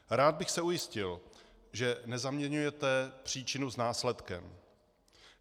Rád bych se ujistil, že nezaměňujete příčinu s následkem.